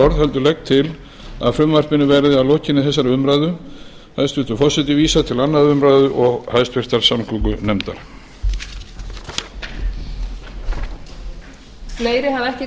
orð heldur legg til að frumvarpinu verði að lokinni þessari umræðu hæstvirtur forseti vísað til annarrar umræðu og háttvirtrar samgöngunefndar klára sem hér